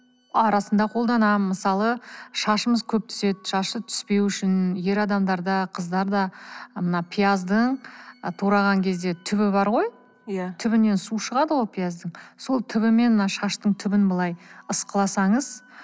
арасында қолданамын мысалы шашымыз көп түседі шашы түспеу үшін ер адамдар да қыздар да мына пияздың тураған кезде түбі бар ғой иә түбінен су шығады ғой пияздың сол түбімен мына шаштың түбін былай ысқыласаңыз